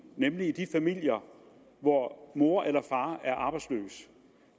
nemlig i de familier hvor mor eller far er arbejdsløs